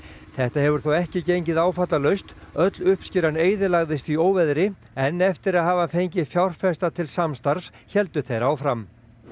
þetta hefur þó ekki gengið áfallalaust öll uppskeran eyðilagðist í óveðri en eftir að hafa fengið til samstarfs héldu þeir áfram